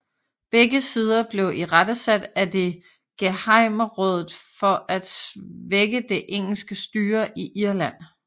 Begge sider blev irettesat af det gehejmerådet for at svække det engelske styre i Irland